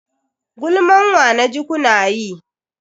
Gulman wa naji kuna yi?